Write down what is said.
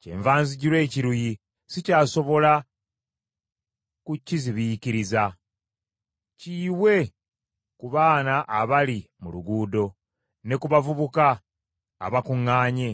Kyenva nzijula ekiruyi sikyasobola kukizibiikiriza. “Kiyiwe ku baana abali mu luguudo, ne ku bavubuka abakuŋŋaanye;